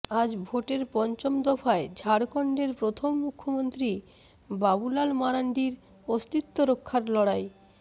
আজ ভোটের পঞ্চম দফায় ঝাড়খণ্ডের প্রথম মুখ্যমন্ত্রী বাবুলাল মারান্ডির অস্তিত্বরক্ষার লড়াই